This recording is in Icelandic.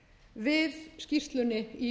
við skýrslunni í